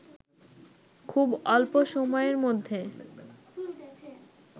খুব অল্প সময়ের মধ্যে